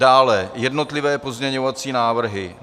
Dále jednotlivé pozměňovací návrhy.